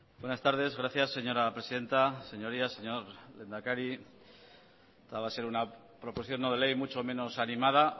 buenas tardes gracias señora presidenta señorías señor lehendakari esta va a ser una proposición no de ley mucho menos animada